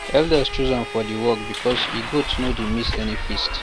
elders choose am for the work because e goat no dey miss any feast